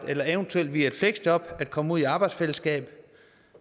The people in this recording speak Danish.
eller eventuelt via et fleksjob at komme ud i et arbejdsfællesskab